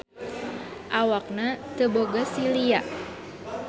Awakna teu boga silia.